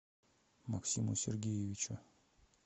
максиму сергеевичу